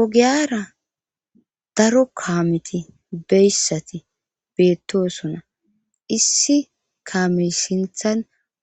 Ogiyara daro kaameti biyaysati beetosona issi kaame sinththan